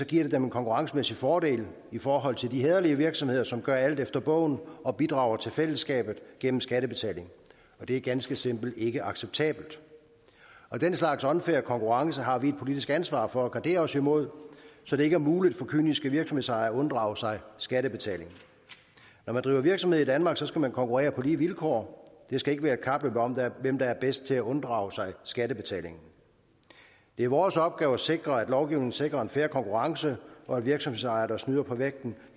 giver det dem en konkurrencemæssig fordel i forhold til de hæderlige virksomheder som gør alt efter bogen og bidrager til fællesskabet gennem skattebetaling det er ganske simpelt ikke acceptabelt den slags unfair konkurrence har vi et politisk ansvar for at gardere os imod så det ikke er muligt for kyniske virksomhedsejere at unddrage sig skattebetaling når man driver virksomhed i danmark skal man konkurrere på lige vilkår det skal ikke være et kapløb om hvem der er bedst til at unddrage sig skattebetaling det er vores opgave at sikre at lovgivningen sikrer en fair konkurrence og at virksomhedsejere der snyder på vægten